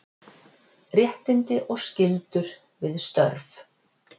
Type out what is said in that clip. Réttindi og skyldur við störf.